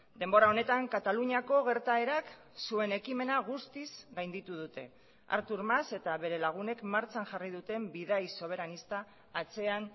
denbora honetan kataluniako gertaerak zuen ekimena guztiz gainditu dute artur mas eta bere lagunek martxan jarri duten bidai soberanista atzean